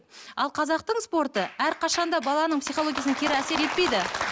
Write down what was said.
ал қазақтың спорты әрқашанда баланың психологиясына кері әсер етпейді